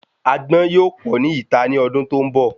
Agbọ́n yóò pọ ni ita ni ọdún tó ń bọ̀